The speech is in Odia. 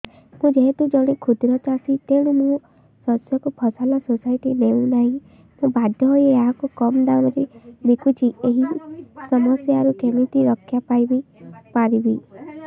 ମୁଁ ଯେହେତୁ ଜଣେ କ୍ଷୁଦ୍ର ଚାଷୀ ତେଣୁ ମୋ ଶସ୍ୟକୁ ଫସଲ ସୋସାଇଟି ନେଉ ନାହିଁ ମୁ ବାଧ୍ୟ ହୋଇ ଏହାକୁ କମ୍ ଦାମ୍ ରେ ବିକୁଛି ଏହି ସମସ୍ୟାରୁ କେମିତି ରକ୍ଷାପାଇ ପାରିବି